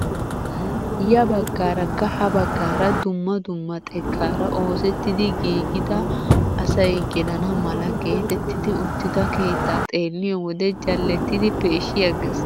Ya baggaarakka ha baggaara dumma dumma xekkaara oosettidi giigidi asay gelana mala getettidi uttida keettaa xeelliyoo wode jallettidi peeshshi aggees!